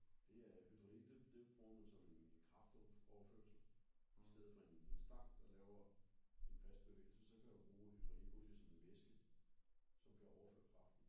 Der er hydralik det det bruger man som en kraftoverførsel istedet for en en stang der laver en fast bevægelse så kan du bruge hydralikolie som en væske som kan overføre kraften